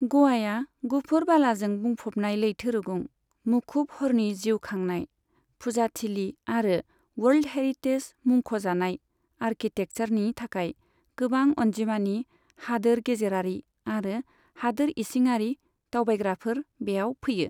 ग'वाया गुफुर बालाजों बुंफबनाय लैथो रुगुं, मुखुब हरनि जिउ खांनाय, फुजाथिलि आरो वर्ल्ड हेरिटेज मुंख'जानाय आर्किटेक्सारनि थाखाय गोबां अनजिमानि हादोर गेजेरारि आरो हादोर इसिङारि दावबायग्राफोर बेयाव फैयो।